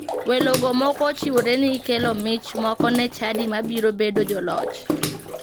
Welogo moko ochiwore ni kelo mich moko ne chadi mabiro bedo joloch.